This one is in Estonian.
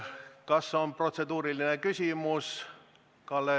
Kas on protseduuriline küsimus?